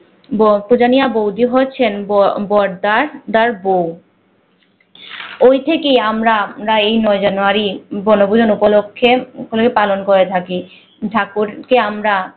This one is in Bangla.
বতজানিয়া বৌদি হচ্ছেন ব বদ্দার দার বৌ ওই থেকে আমরা আমরা এই নয় জানুয়ারি বনভূজন উপলক্ষ্যে পালন করে থাকি। ঠাকুরকে আমরা